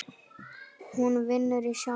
Hún vinnur í sjoppu